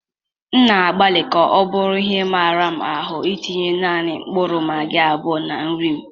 M na-agbalị ka ọ bụrụ ihe mara m ahụ itinye nanị mkpụrụ magị abụọ na nri m.